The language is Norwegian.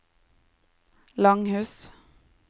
Langhus